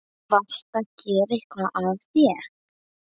Varstu að gera eitthvað af þér?